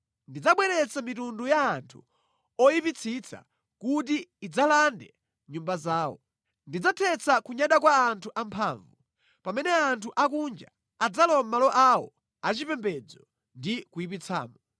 Ndidzabweretsa mitundu ya anthu oyipitsitsa kuti idzalande nyumba zawo. Ndidzathetsa kunyada kwa anthu amphamvu pamene anthu akunja adzalowa mʼmalo awo achipembedzo ndi kuyipitsamo.